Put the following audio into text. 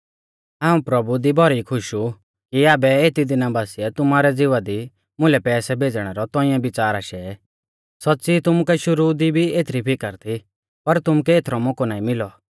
हाऊं प्रभु दी भौरी खुश ऊ कि आबै एती दिना बासिऐ तुमारै ज़िवा दी मुलै पैसै भेज़णै रौ तौंइऐ बिच़ार आशै सौच़्च़ी तुमुकै शुरु दी भी एथरी फिकर थी पर तुमुकै एथरौ मौकौ नाईं मिलौ